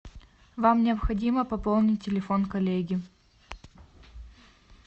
вам необходимо пополнить телефон коллеги